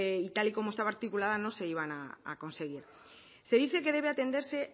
y tal y como estaba articulada no se iban a conseguir se dice que debe atenderse